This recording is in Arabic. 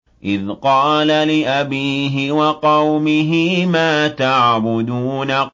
إِذْ قَالَ لِأَبِيهِ وَقَوْمِهِ مَا تَعْبُدُونَ